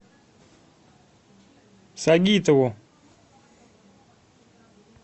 сагитову